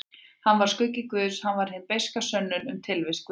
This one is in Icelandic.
Hann var skuggi guðs, hann var hin beiska sönnun um tilvist guðs.